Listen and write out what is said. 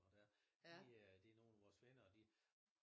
Og der de øh de nogle af vores venner og de